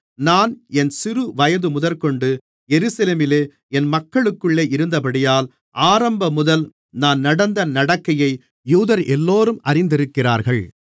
நான் என் சிறுவயது முதற்கொண்டு எருசலேமிலே என் மக்களுக்குள்ளே இருந்தபடியால் ஆரம்பமுதல் நான் நடந்த நடக்கையை யூதரெல்லோரும் அறிந்திருக்கிறார்கள்